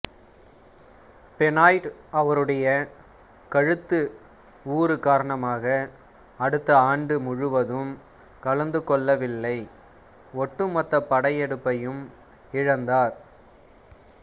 Benoit அவருடைய கழுத்து ஊறு காரணமாக அடுத்த ஆண்டு முழுவதும் கலந்துகொள்ளவில்லை ஒட்டுமொத்த படையெடுப்பையும் இழந்தார்